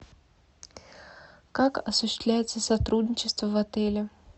как осуществляется сотрудничество в отеле